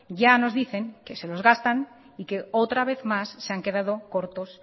ya nos dicen que se los gastan y que otra vez más se han quedado cortos